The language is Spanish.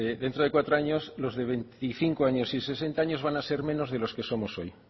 dentro de cuatro años los de veinticinco años y sesenta años van a ser menos de los que somos hoy